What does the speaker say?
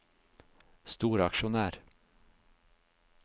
storaksjonær